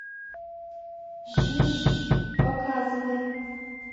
жжж показывай